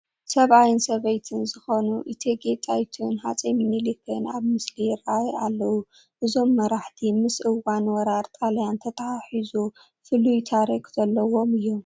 ሰብኣይን ሰበይትን ዝኾኑ እቴጌ ጣይቱን ሃፀይ ሚንሊክን ኣብ ምስሊ ይርአዩ ኣለዉ፡፡ እዞም መራሕቲ ምስ እዋን ወራር ጣልያን ተተሓሒዞ ፍሉይ ታሪክ ዘለዎም እዮም፡፡